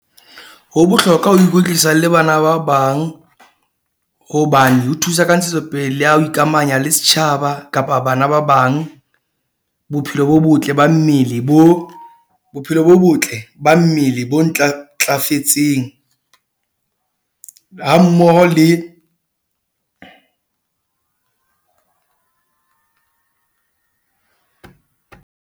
Ho bohlokwa ho ikwetlisa le bana ba bang hobane ho thusa ka Ntshetsopele le ya ho ikamanya le setjhaba, kapa bana ba bang. Bophelo bo botle ba mmele bo bophelo bo botle ba mmele bo ntlafetseng hammoho le .